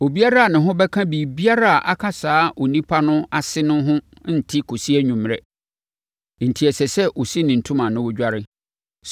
Obiara a ne ho bɛka biribiara a aka saa onipa no ase no ho nte kɔsi anwummerɛ, enti ɛsɛ sɛ ɔsi ne ntoma na ɔdware.